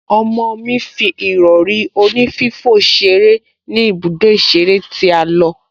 Ọmọ mi fi ìrọ̀rí onífífò ṣeré ní ibùdó ìṣeré tí a lọ